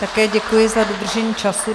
Také děkuji za dodržení času.